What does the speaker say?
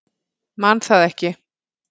Man það ekki.